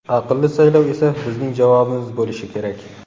Aqlli saylov esa bizning javobimiz bo‘lishi kerak.